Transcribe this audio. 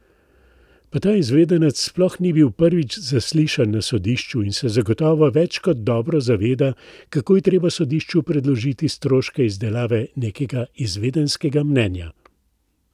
Pa ta izvedenec sploh ni bil prvič zaslišan na sodišču in se zagotovo več kot dobro zaveda, kako je treba sodišču predložiti stroške izdelave nekega izvedenskega mnenja.